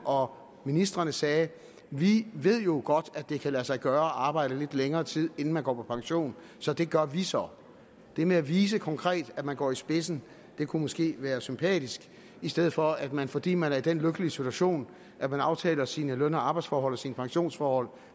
og ministrene sagde vi ved jo godt at det kan lade sig gøre at arbejde lidt længere tid inden man går på pension så det gør vi så det med at vise konkret at man går i spidsen kunne måske være sympatisk i stedet for at man fordi man er i den lykkelige situation at man aftaler sine løn og arbejdsforhold og sine pensionsforhold